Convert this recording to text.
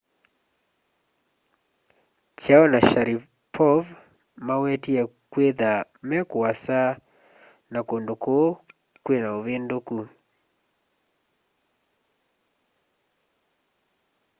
chiao na sharipov mawetie kwĩtha me kũasa na kũndũ kũũ kwĩna ũvĩndũkũ